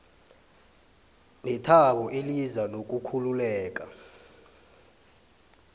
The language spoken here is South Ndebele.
nethabo eliza nokukhululeka